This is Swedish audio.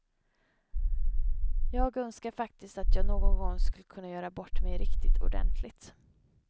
Jag önskar faktiskt att jag någon gång skulle kunna göra bort mig riktigt ordentligt.